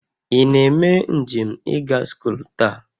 Ị na-eme njem ịga scholl taa?